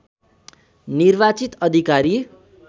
निर्वाचित अधिकारी